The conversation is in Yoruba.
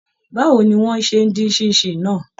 Báwo ni wọ́n ṣe dín Ṣín-in-ṣìn náà!